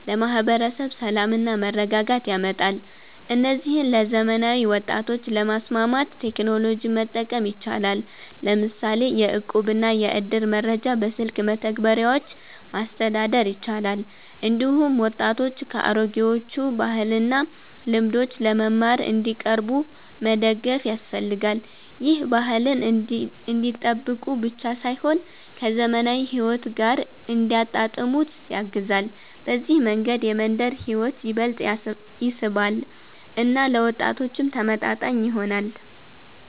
ለማህበረሰብ ሰላምና መረጋጋት ያመጣል። እነዚህን ለዘመናዊ ወጣቶች ለማስማማት ቴክኖሎጂን መጠቀም ይቻላል፤ ለምሳሌ የእቁብና የእድር መረጃ በስልክ መተግበሪያዎች ማስተዳደር ይቻላል። እንዲሁም ወጣቶች ከአሮጌዎቹ ባህልና ልምዶች ለመማር እንዲቀርቡ መደገፍ ያስፈልጋል። ይህ ባህልን እንዲጠብቁ ብቻ ሳይሆን ከዘመናዊ ሕይወት ጋር እንዲያጣጣሙት ያግዛል። በዚህ መንገድ የመንደር ሕይወት ይበልጥ ይስባል እና ለወጣቶችም ተመጣጣኝ ይሆናል።